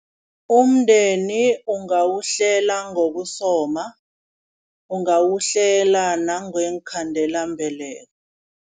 Umndeni ungawuhlela ngokusoma, ungawuhlela nangeenkhandelambeleko.